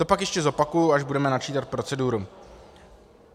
To pak ještě zopakuji, až budeme načítat proceduru.